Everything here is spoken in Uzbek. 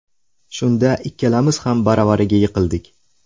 Shunda ikkalamiz ham baravariga yiqildik.